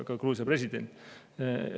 Ka Gruusia president.